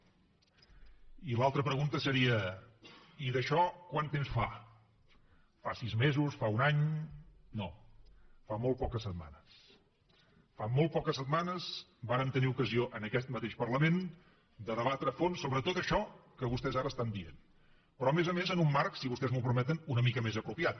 i l’altra pregunta seria i d’això quant temps fa fa sis mesos fa un any no fa molt poques setmanes fa molt poques setmanes vàrem tenir ocasió en aquest mateix parlament de debatre a fons sobre tot això que vostès ara estan dient però a més a més en un marc si vostès m’ho permeten una mica més apropiat